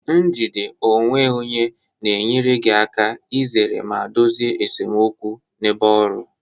Njide onwe onye na-enyere gị aka izere ma dozie esemokwu n'ebe ọrụ